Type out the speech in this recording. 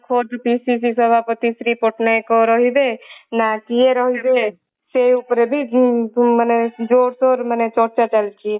PCC ସଭାପତି ଶ୍ରୀ ପଟ୍ଟନାୟକ ରହିବେ ନା କିଏ ରହିବେ ସେ ଉପରେ ବି ମାନେ ଜୋର ସୋରେ ଚର୍ଚ୍ଚା ଚାଲିଛି